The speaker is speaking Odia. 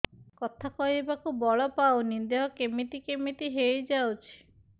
କଥା କହିବାକୁ ବଳ ପାଉନି ଦେହ କେମିତି କେମିତି ହେଇଯାଉଛି